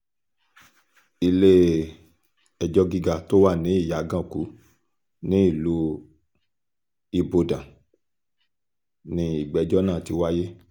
ilé-ẹjọ́ gíga tó wà ní ìyàgànkù nílùú ibodàn ni ìgbẹ́jọ́ náà ti wáyé